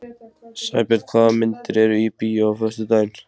Sæbjörn, hvaða myndir eru í bíó á föstudaginn?